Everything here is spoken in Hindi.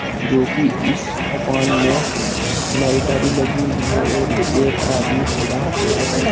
जो कि इस दुकान में लाइट अभी लगी हुई है और एक आदमी खड़ा हुआ है।